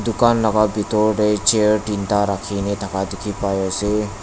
kan laka bitor tae chair teenta rakhina thaka dikhipaiase.